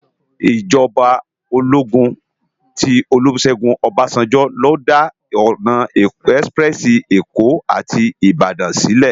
Ijòbá ólógún ti Olusegun Obasanjo ló dá òná èsipirèsi Ékó áti Ibadan silè